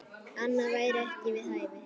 Annað væri ekki við hæfi.